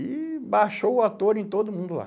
E baixou o ator em todo mundo lá.